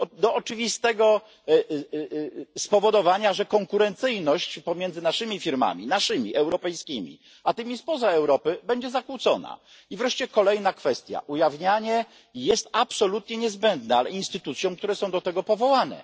Do oczywistego spowodowania, że konkurencyjności pomiędzy naszymi firmami, naszymi europejskimi, a tymi spoza Europy będzie zakłócona. I wreszcie kolejna kwestia, ujawnianie jest absolutnie niezbędne, ale instytucjom, które są do tego powołane.